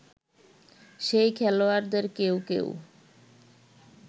সেই খেলোয়াড়দের কেউ কেউ